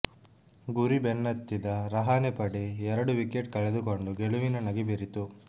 ಗುರಿ ಬೆನ್ನತ್ತಿದ ರಹಾನೆ ಪಡೆ ಎರಡು ವಿಕೆಟ್ ಕಳೆದುಕೊಂಡು ಗೆಲುವಿನ ನಗೆ ಬೀರಿತು